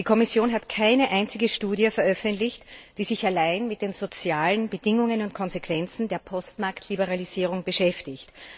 Die Kommission hat keine einzige Studie veröffentlicht, die sich allein mit den sozialen Bedingungen und Konsequenzen der Postmarktliberalisierung beschäftigt.